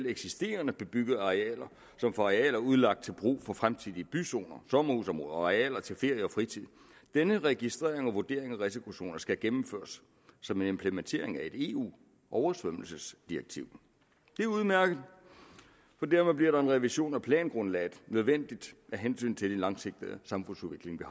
eksisterende bebyggede arealer som for arealer udlagt til brug for fremtidige byzoner sommerhusområder arealer til ferie og fritid denne registrering og vurdering af risikozoner skal gennemføres som en implementering af et eu oversvømmelsesdirektiv det er udmærket for dermed bliver en revision af plangrundlaget nødvendigt af hensyn til den langsigtede samfundsudvikling